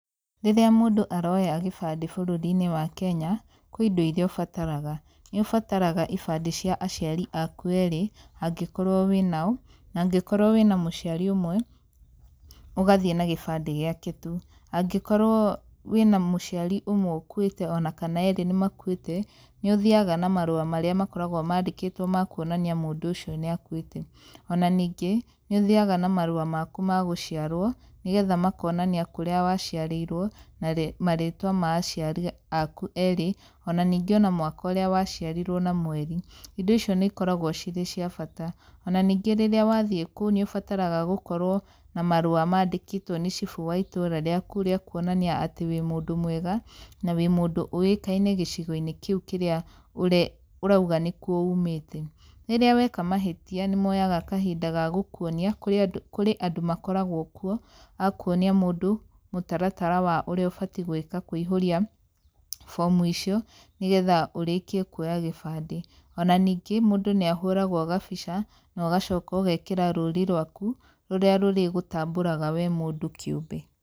Rĩrĩa mũndũ aroya gĩbandĩ bũrũri-inĩ wa Kenya, kwĩ indo irĩa ũbataraga. Nĩ ũbataraga ibandĩ cia aciari aku erĩ, angĩkorwo wĩna o, na angĩkorwo wĩna mũciari ũmwe ũgathiĩ na gĩbande gĩake tu. Angĩkorwo wĩna mũciari ũmwe ũkuĩte ona kana erĩ nĩ makuĩte, nĩ ũthiaga na marũa marĩa makoragwo mandĩkĩtwo ma kuonania mũndũ ũcio nĩ akuĩte. Ona ningĩ, nĩ ũthiaga na marũa maku ma gũciarwo, nĩgetha makonania kũrĩa waciarĩirwo, marĩtwa ma aciari aku erĩ, ona ningĩ ona mwaka ũrĩa waciarirwo na mweri. Indo icio nĩ ikoragwo cirĩ cia bata. Ona ningĩ rĩrĩa wathiĩ kũu nĩ ũbataraga gũkorwo na marũa mandĩkĩtwo nĩ cibũ wa itũũra rĩaku rĩa kuonania atĩ wĩ mũndũ mwega, na wĩ mũndũ ũĩkaine gĩcigo-inĩ kĩu kĩrĩa ũrauga nĩ kuo umĩte. Rĩrĩa weka mahĩtia nĩ moyaga kahinda ga gũkuonia, kũrĩ andũ kũrĩ andũ makoragwo kuo, a kuonia mũndũ mũtaratara wa ũrĩa ũbatiĩ gwĩka kũihũria bomu icio, nĩgetha ũrĩkie kuoya gĩbandĩ. Ona ningĩ mũndũ nĩ ahũragwo gabica, na ũgacoka ũgekĩra rũrĩ rwaku rũrĩa rũrĩgũtambũraga we mũndũ kĩũmbe.